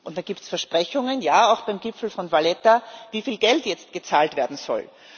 Da gibt es Versprechungen ja, auch beim Gipfel von Valetta wieviel Geld jetzt gezahlt werden soll.